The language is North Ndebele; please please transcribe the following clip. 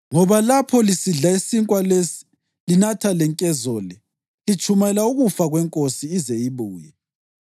Ngoba lapho lisidla isinkwa lesi linatha lenkezo le, litshumayela ukufa kweNkosi ize ibuye.